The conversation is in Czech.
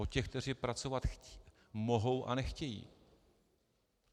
O těch, kteří pracovat mohou a nechtějí.